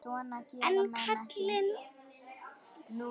En kallið var komið.